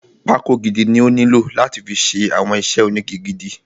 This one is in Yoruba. Pákó gidi ni ó nílò láti fi ṣe àwọn iṣẹ́ ónigi gidi.